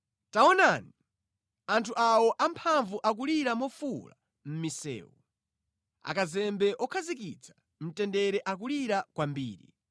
Taonani, anthu awo amphamvu akulira mofuwula mʼmisewu; akazembe okhazikitsa mtendere akulira kwambiri.